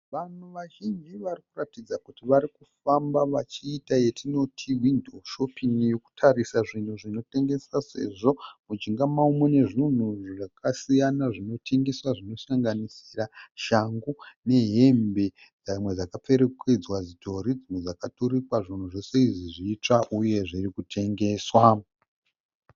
Vanhu vazhinji vari kuratidza kuti varikufamba vachiita yetinoti hwindo shopin'i yekutarisa zvinhu zvinotengeswa sezvo mujinga mavo mune zvinhu zvakasiyana zvinotengeswa zvinosanganisira shangu nehembe dzimwe dzakapfekedzwa zvidhori dzimwe dzakaturikwa zvinhu zvese izvi zvitsva uye zviri kutengeswa.